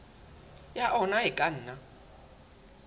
ya ona e ka nna